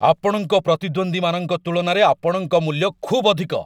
ଆପଣଙ୍କ ପ୍ରତିଦ୍ୱନ୍ଦ୍ୱୀମାନଙ୍କ ତୁଳନାରେ ଆପଣଙ୍କ ମୂଲ୍ୟ ଖୁବ୍ ଅଧିକ।